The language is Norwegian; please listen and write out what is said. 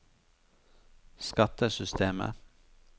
skattesystemet